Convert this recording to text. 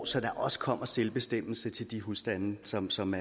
så der også kommer selvbestemmelse til de husstande som som